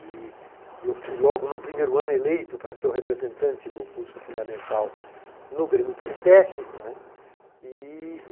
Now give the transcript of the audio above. E eu fui logo no primeiro ano eleito para ser o representante do curso fundamental no Grêmio Politécnico, né. E